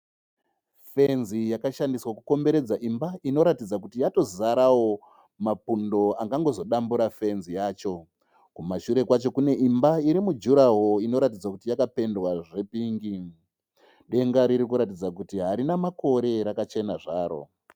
Fenzi yakashandiswa kukomberedza imba inoratidza kuti yatozarawo mapundo angangozodambura fenzi yacho. Kumashure kwacho kune imba iri mujuraho inoratidza kuti yakapedwa zvepingi. Denga riri kuratidza kuti harina makore rakachena zvaro.